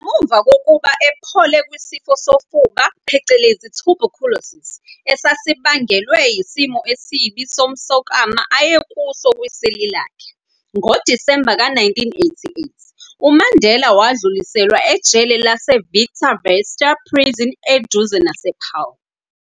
Ngemuva kokuba ephole kwisifo sofuba, tuberculosis, esasibangelwe yisimo esibi somsokama ayekuso kwiseli lakhe, ngoDisemba ka-1988, uMandela wudluliselwa ejele lase-Victor Verster Prison eduzane nase-Paarl.